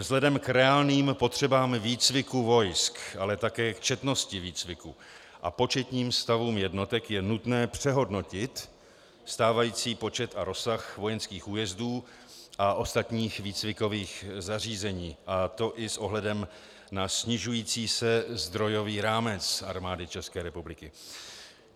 Vzhledem k reálným potřebám výcviku vojsk, ale také k četnosti výcviku a početním stavům jednotek je nutné přehodnotit stávající počet a rozsah vojenských újezdů a ostatních výcvikových zařízení, a to i s ohledem na snižující se zdrojový rámec Armády České republiky.